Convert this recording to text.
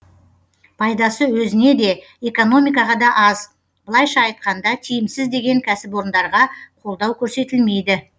пайдасы өзіне де экономикаға да аз былайша айтқанда тиімсіз деген кәсіпорындарға қолдау көрсетілмейді